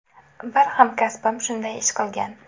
Bir hamkasbim shunday ish qilgan.